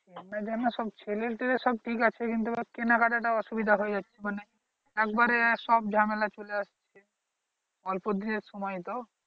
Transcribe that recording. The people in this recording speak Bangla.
সব ছেলে টেলে সব ঠিক আছে কিন্তু ওর কেনাকাটা টা অসুবিধা হয়ে যাচ্ছে মানে একবারে সব ঝামেলা চলে যাচ্ছে অল্পদিনের সময়ে তো